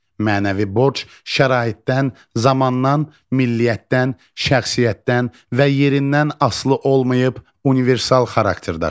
Mənəvi borc şəraitdən, zamandan, milliyətdən, şəxsiyyətdən və yerindən asılı olmayıb, universal xarakter daşıyır.